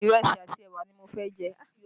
Ìrẹsì àti ẹwà ni mo fẹ́ jẹ